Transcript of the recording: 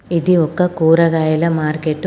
ఇది ఒక కూరగాయల మార్కెట్ .